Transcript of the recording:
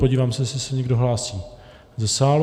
Podívám se, jestli se někdo hlásí ze sálu.